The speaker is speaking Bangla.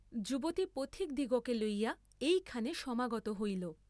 যুবতী পথিকদিগকে লইয়া এইখানে সমাগত হইল!